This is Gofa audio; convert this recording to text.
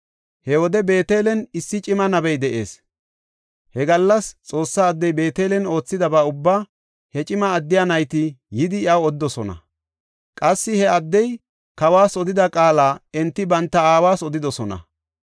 He wode Beetelen issi cima nabey de7ees. He gallas Xoossaa addey Beetelen oothidaba ubbaa he cima addiya nayti yidi iyaw odidosona. Qassi he addey kawas odida qaala enti banta aawas odidosona.